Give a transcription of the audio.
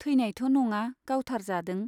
थैनायथ' नङा गावथार जादों।